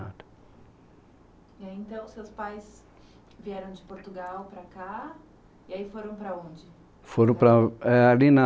E aí, então, seus pais vieram de Portugal para cá e aí foram para onde? Foram para, é ali na